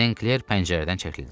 Senkler pəncərədən çəkildi.